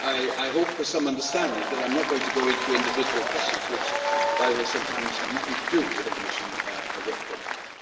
I hope for some understanding of the fact that I am not going to go into individual questions which, by the way, sometimes have nothing to do with the Commission work programme.